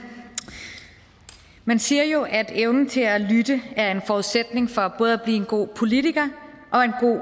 man siger jo at evnen til at lytte er en forudsætning for både at blive en god politiker og en